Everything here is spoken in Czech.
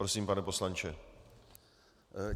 Prosím, pane poslanče.